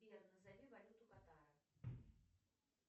сбер назови валюту катара